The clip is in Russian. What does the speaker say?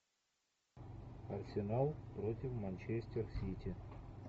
арсенал против манчестер сити